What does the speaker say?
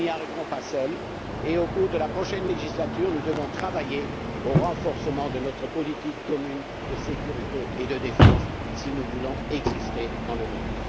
nous n'y arriverons pas seuls et, au cours de la prochaine législature, nous devrons travailler au renforcement de notre politique commune de sécurité et de défense, si nous voulons exister dans le monde.